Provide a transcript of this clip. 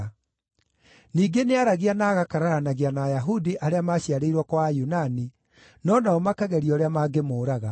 Ningĩ nĩaaragia na agakararanagia na Ayahudi arĩa maaciarĩirwo kwa Ayunani, no nao makageria ũrĩa mangĩmũũraga.